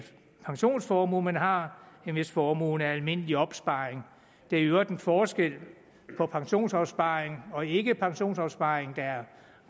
pensionsformue man har end hvis formuen er almindelig opsparing det er i øvrigt en forskel på pensionsopsparing og ikkepensionsopsparing der er